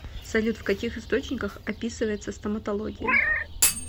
салют в каких источниках описывается стоматология